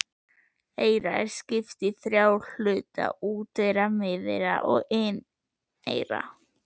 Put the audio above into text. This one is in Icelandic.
Eyra er skipt í þrjá hluta: úteyra, miðeyra og inneyra.